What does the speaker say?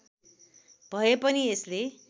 भए पनि यसले